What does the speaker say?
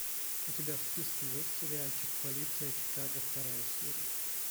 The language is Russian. у тебя в списке есть сериальчик полиция чикаго вторая серия